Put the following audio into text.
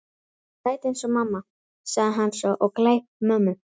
Sæt eins og mamma, sagði hann svo og kleip mömmu.